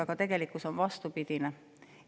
Aga tegelikkus on vastupidine.